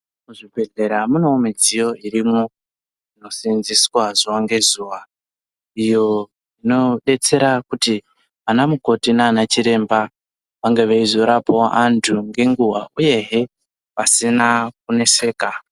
Muzvibhedhlera mune mudziyo irimwo inoseenzeswa zuva ngezuva iyo inodetsera kuti ana mukoti nana chiremba ange eyizorapawo antu nenguva uye hee pasina kuneseka.